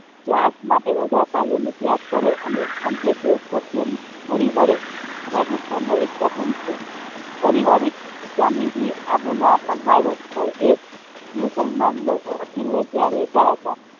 ત્યાગ માટે વધારે નું ત્યાગ કરે અને અંતે તે સત્ય ને ભળી વળે રાજસ્થાન નો એક વતન છે પારિવારિક સ્વામીજી આબુ ના પહાડ પર એક મુસલમાન વકીલ ને ત્યાં રહેતા હતા